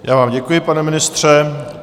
Já vám děkuji, pane ministře.